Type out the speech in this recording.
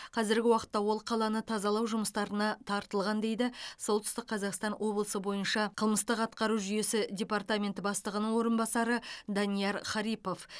қазіргі уақытта ол қаланы тазалау жұмыстарына тартылған дейді солтүстік қазақстан облысы бойынша қылмыстық атқару жүйесі департаменті бастығының орынбасары данияр харипов